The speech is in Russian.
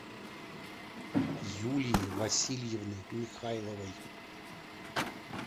юлии васильевны михайловой